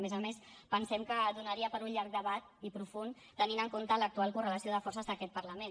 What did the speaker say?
a més a més pensem que donaria per a un llarg debat i profund tenint en compte l’actual correlació de forces d’aquest parlament